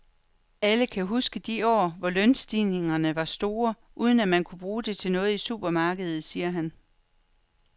Alle kan huske de år, hvor lønstigningerne var store, uden at man kunne bruge det til noget i supermarkedet, siger han.